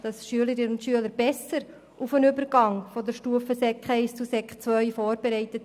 Die Schülerinnen und Schüler werden dabei besser auf den Übergang von der Sekundarstufe I zur Sekundarstufe II vorbereitet.